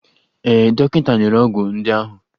Ee, dọkịta nyere ọgwụ ndị ahụ.